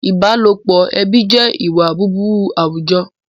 Ìbálòpọ̀ ẹbí jẹ́ ìwà búburú àwùjọ